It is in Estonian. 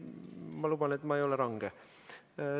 Ma luban, et ma ei ole range.